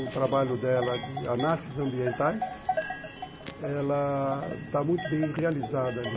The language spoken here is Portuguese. O trabalho dela de análises ambientais, ela está muito bem realizada ali.